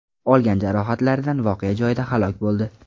olgan jarohatlaridan voqea joyida halok bo‘ldi.